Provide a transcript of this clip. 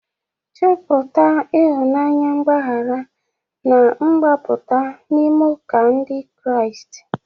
Chọpụta ịhụnanya, mgbaghara, na mgbapụta n'ime ụka Ndị Kraịst.